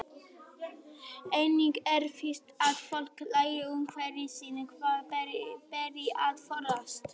Einnig er víst að fólk lærir af umhverfi sínu hvað beri að forðast.